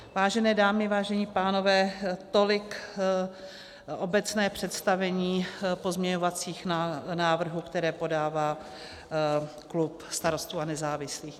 Vážené dámy, vážení pánové, tolik obecné představení pozměňovacích návrhů, které podává klub Starostů a nezávislých.